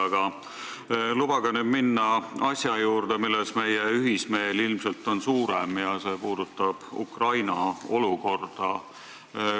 Aga lubage nüüd minna asja juurde, milles meie ühismeel ilmselt suurem on – see puudutab Ukraina olukorda.